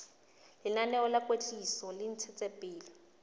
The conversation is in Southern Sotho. lenaneo la kwetliso le ntshetsopele